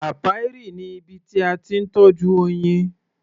Apiary ni ibi tí a ti ń tọ́jú oyin.